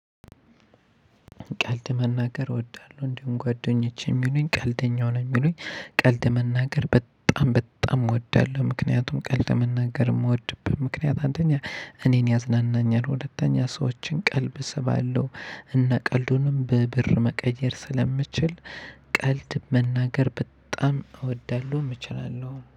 ቀልድ መናገር እወዳለሁ እንዲሁም ጓደኞቼ የሚሉኝ ቀልደኛው ነው የሚሉኝ ቀልድ መናገር በጣም በጣም እወዳለሁ ምክንያቱም ቀልድ መናገር የምወድብት ምክንያት አንደኛ እኔን ያዝናናኛል ሁለተኛ ሰዎችን ቀልብ ስባለው እና ቀልዱንም በብር መቀየር ስለምችል ቀልድ መናገር በጣም እወዳለሁ እችላለሁ።